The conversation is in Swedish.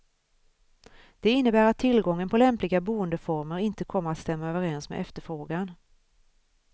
Det innebär att tillgången på lämpliga boendeformer inte kommer att stämma överens med efterfrågan.